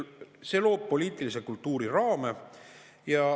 See loob poliitilisele kultuurile raame.